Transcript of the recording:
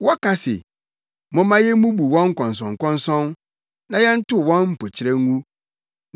Wɔka se, “Momma yemmubu wɔn nkɔnsɔnkɔnsɔn na yɛntow wɔn mpokyerɛ ngu.”